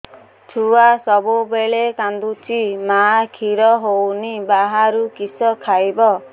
ଛୁଆ ସବୁବେଳେ କାନ୍ଦୁଚି ମା ଖିର ହଉନି ବାହାରୁ କିଷ ଖାଇବ